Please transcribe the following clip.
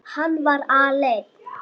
Hann var aleinn.